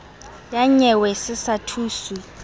ya nyewe se sa thuswe